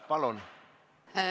Palun!